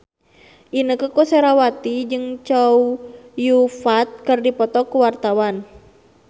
Inneke Koesherawati jeung Chow Yun Fat keur dipoto ku wartawan